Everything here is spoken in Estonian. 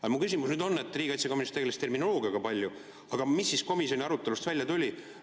Aga mu küsimus on: riigikaitsekomisjon tegeles terminoloogiaga palju, aga mis komisjoni arutelust välja tuli?